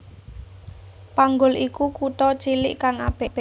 Panggul iku kutha cilik kang apik